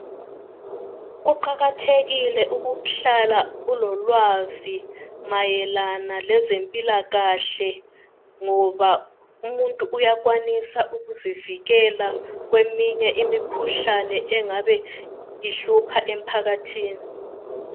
Kuqakathekile ukuhlala ulolwazi mayelana lezempilakahle ngoba umuntu uyakwanisa ukuzivikela kweminye imikhuhlane engabe ihlupha emphakathini.